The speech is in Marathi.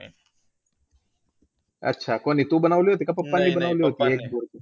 अच्छा! कोणी तू बनवली होती की papa नी बनवली होती?